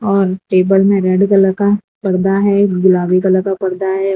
और टेबल में red colour का पर्दा है गुलाबी कलर का पर्दा है।